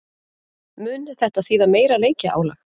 Mun þetta þýða meira leikjaálag?